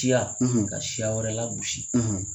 Tiya ka siya wɛrɛ la gosi.